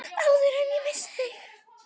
Áður en ég missi þig.